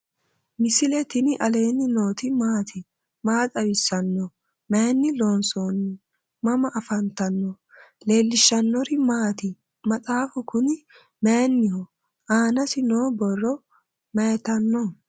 misile tini alenni nooti maati? maa xawissanno? Maayinni loonisoonni? mama affanttanno? leelishanori maati? maxxaffu kuni mayiinnoho ? aannasi noo borro mayiittanno?